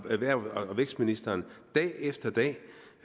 erhvervs og vækstministeren